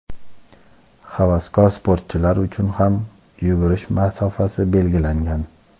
Havaskor sportchilar uchun ham yugurish masofasi belgilangan.